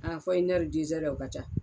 A fɔ inɛri dezɛrɛ o ka ca